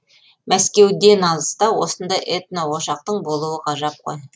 мәскеуден алыста осындай этно ошақтың болуы ғажап қой